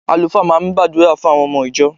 Àlùfáà máa ń gbàdúrà fún àwọn ọmọ ìjọ.